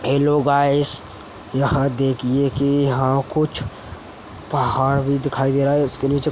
hello guys यहां देखिए कि यहां कुछ पहाड़ भी दिखाई दे रहा है इसके नीचे --